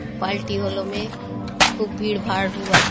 पालटी होलो मे खुब भीड़ भाड़ होआत।